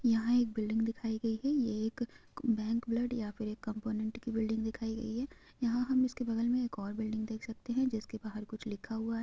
यहाँ एक बिल्डिंग दिखाई गई है ये एक बैंक ब्लड या फिर एक कंपोनेंट की बिल्डिंग दिखाई गई है यहाँ हम इसके बगल में एक और बिल्डिंग देख सकते है जिसके बाहर कुछ लिखा हुआ है।